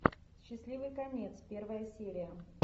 счастливый конец первая серия